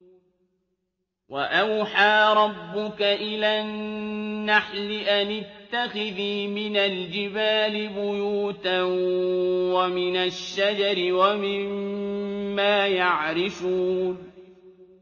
وَأَوْحَىٰ رَبُّكَ إِلَى النَّحْلِ أَنِ اتَّخِذِي مِنَ الْجِبَالِ بُيُوتًا وَمِنَ الشَّجَرِ وَمِمَّا يَعْرِشُونَ